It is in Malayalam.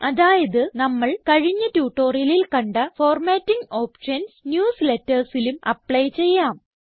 അതായത് നമ്മൾ കഴിഞ്ഞ ട്യൂട്ടോറിയലിൽ കണ്ട ഫോർമാറ്റിംഗ് ഓപ്ഷൻസ് newslettersലും അപ്ലൈ ചെയ്യാം